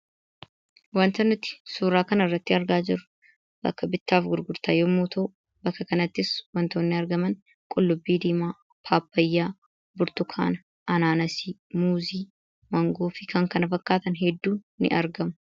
Wanti nuti suuraa kanarratti argaa jirru bakka bittaa fi gurgurtaa yoo ta'u, bakka kanattis wantoonni argaman qullubbii diimaa, pappaayaa, burtukaana, anaanaasii, muuzii, maangoo fi kan kana fakkaatan hedduun ni argamu.